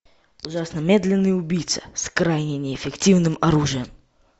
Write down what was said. ужасно медленный убийца с крайне неэффективным оружием